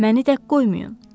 Məni tək qoymayın.